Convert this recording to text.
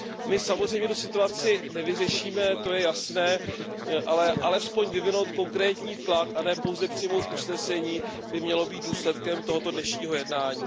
My samozřejmě tu situaci nevyřešíme, to je jasné, ale alespoň vyvinout konkrétní tlak a ne pouze přijmout usnesení by mělo být důsledkem tohoto dnešního jednání.